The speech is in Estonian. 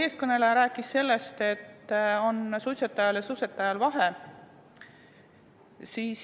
Eelkõneleja rääkis sellest, et suitsetajal ja suitsetajal on vahe.